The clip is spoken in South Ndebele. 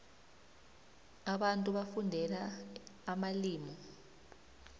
abantu bafundela amalimu